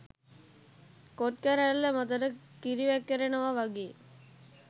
කොත් කැරැල්ල මතට කිරි වැක්කෙරෙනවා වගේ.